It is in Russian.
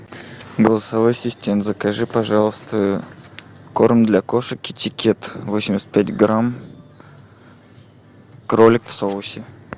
голосовой ассистент закажи пожалуйста корм для кошек китикет восемьдесят пять грамм кролик в соусе